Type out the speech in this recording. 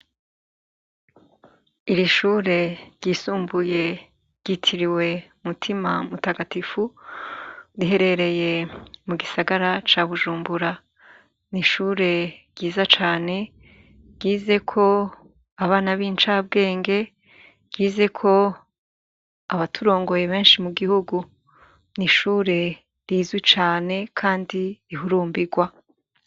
Irishure ryisumbuye ryitiriwe mutima mutagatifu riherereye mugisagara cabujumbura nishure ryiza cane ryizeko abana bincabwenge ryizeko abaturongoye benshi mugihugu nishure rizwi cane kandi rihurumbirwa